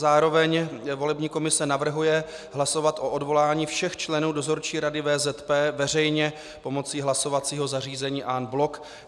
Zároveň volební komise navrhuje hlasovat o odvolání všech členů Dozorčí rady VZP veřejně pomocí hlasovacího zařízení en bloc.